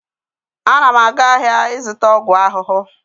Ana m aga ahịa ịzụta ọgwụ ahụhụ.